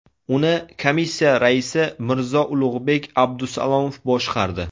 Uni Komissiya raisi Mirzo-Ulug‘bek Abdusalomov boshqardi.